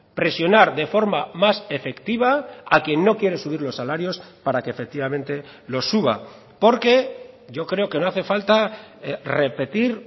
presionar de forma más efectiva a quien no quiere subir los salarios para que efectivamente los suba porque yo creo que no hace falta repetir